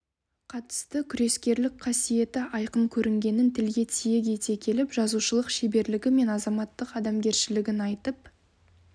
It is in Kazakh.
қатысты күрескерлік қасиеті айқын көрінгенін тілге тиек ете келіп жазушылық шеберлігі мен азаматтық адамгершілігін айтып